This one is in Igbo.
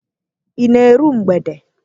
Ị na-eru mgbede?